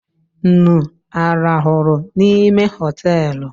Nnu a rahụrụ n'ime hoteelu?